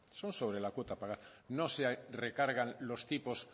son sobre la cuota a pagar no se recargan los tipos